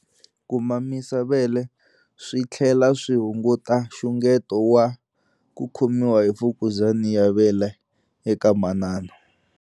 Ku mamisa vele swi tlhela swi hunguta nxungeto wa ku khomiwa hi mfukuzana ya vele eka manana.